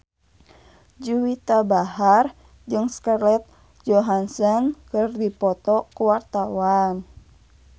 Juwita Bahar jeung Scarlett Johansson keur dipoto ku wartawan